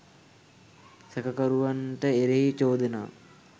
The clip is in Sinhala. සැකකරුවන්ට එරෙහි චෝදනා